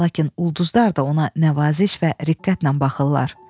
Lakin ulduzlar da ona nəvaziş və rəğbətlə baxırlar.